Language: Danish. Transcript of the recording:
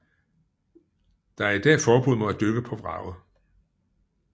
Der er i dag forbud mod at dykke på vraget